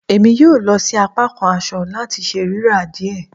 Emi yoo lọ si apakan aṣọ lati ṣe rira diẹ